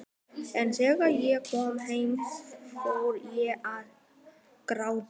En þegar ég kom heim fór ég að gráta.